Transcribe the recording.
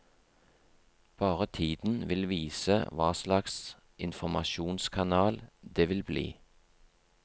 Bare tiden vil vise hva slags informasjonskanal det vil bli.